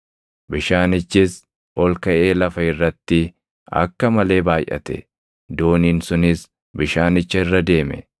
Bishaanichis ol kaʼee lafa irratti akka malee baayʼate; dooniin sunis bishaanicha irra deeme.